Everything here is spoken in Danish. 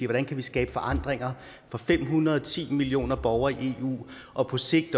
hvordan kan vi skabe forandringer for fem hundrede og ti millioner borgere i eu og på sigt